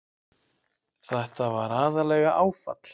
Þetta var aðallega áfall.